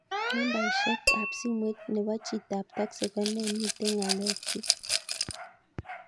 Nambaisyek ab simoit nebo chitap taxi ko nee miten ngalekyuk